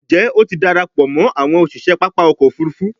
njé o tí darapọ̀ mọ àwọn òṣiṣẹ pápá ọkọ̀-òfurufú?